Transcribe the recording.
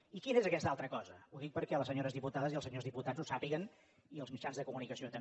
i quina és aquesta altra cosa ho dic perquè les senyores diputades i els senyors diputats ho sàpiguen i els mitjans de comunicació també